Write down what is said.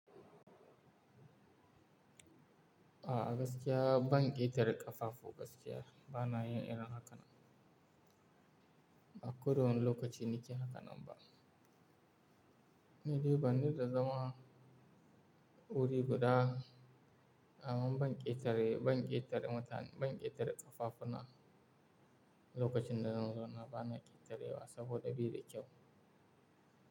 A gaskiya ban ƙetare ƙafafu gaskiya, bana yin irin haka na. A ko da wane lokaci nake haka nan ba. Ni dai ban da dama wuri guda, amma ban ƙetare, banki ƙetare ma ta ban ƙetare ƙafafu na lokacin da zan zo na ba na ƙetarewa saboda beda kyau.